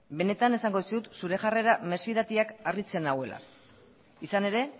benetan esango dizut zure jarrera mesfidatiak harritzen nauela izan ere